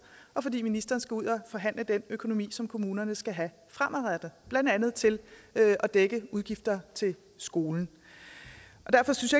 og fordi ministeren skal ud og forhandle den økonomi som kommunerne skal have fremadrettet blandt andet til at dække udgifter til skolen derfor synes